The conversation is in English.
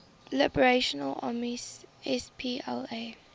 liberation army spla